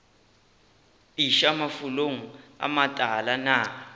iša mafulong a matala na